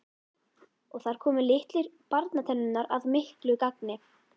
Og þar komu litlu barnatennurnar að miklu gagni.